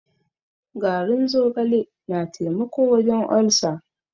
Garin zogale na taimako wajen olcer.